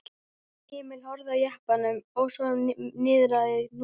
Emil horfði á eftir jeppanum og svo niðrað Húnaveri.